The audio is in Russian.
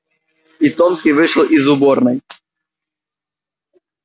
и томский вышел из уборной